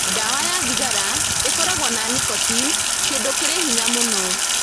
Ndawa ya thigara ĩkoragwo na nicotine, kĩndũ kĩrĩ hinya mũno.